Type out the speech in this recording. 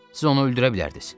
Siz onu öldürə bilərdiniz.